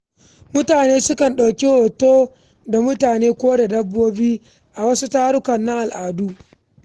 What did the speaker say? Mutane sukan ɗauki hoto tare da dabbobi ko kayan al’adu a wasu bukukuwa.